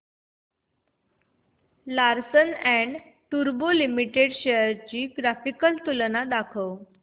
Larsen and टुर्बो limited shares ची graphical तुलना दाखव